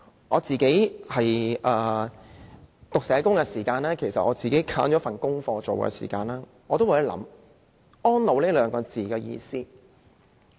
我讀社工課程的時候，選了一份功課，讓我有機會思考"安老"這一詞的意思。